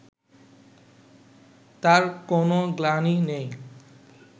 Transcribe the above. তার কোনো গ্লানি নেই